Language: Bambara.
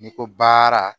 N'i ko baara